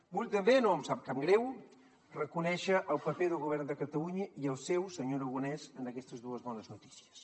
vull també no em sap cap greu reconèixer el paper del govern de catalunya i el seu senyor aragonès en aquestes dues bones notícies